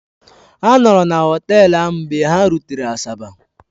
Ha nọọrọ na họtel ahụ mgbe ha rutere Asaba.